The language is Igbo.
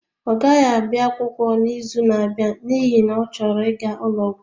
Ọ gaghị abịa akwụkwọ n'izu na-abịa n'ihi na ọ chọrọ ịga ụlọ ọgwụ